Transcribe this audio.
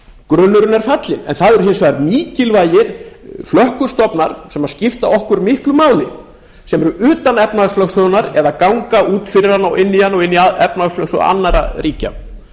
grunnurinn er fallinn en það eru hins vegar mikilvægir flökkustofnar sem skipta okkur miklum máli sem eru utan efnahagslögsögunnar eða ganga út fyrir hana og inn í efnahagslögsögu annarra ríkja um